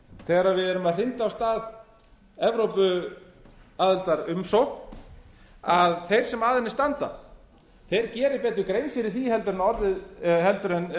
þegar við erum að hrinda af stað evrópuaðildarumsókn að þeir sem að henni standa geri betur grein fyrir því heldur en